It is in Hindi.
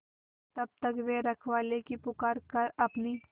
तब तक वे रखवाले की पुकार पर अपनी